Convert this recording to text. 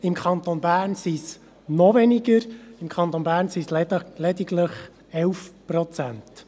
Im Kanton Bern sind es noch weniger, es sind lediglich 11 Prozent.